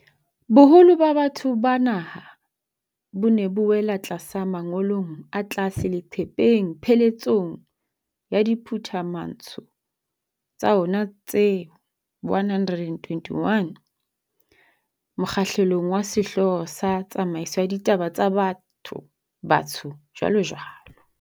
Boholo ba batho ba naha bo ne bo wela tlasa mongolong o tlase leqepheng pheletsong ya diphumantsho tsa ona tse 121, mokgahlelong wa sehlooho sa 'Tsamaiso ya Ditaba tsa Batho-Batsho, jwalojwalo.'